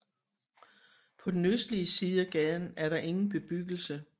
På den østlige side af gaden er der ingen bebyggelse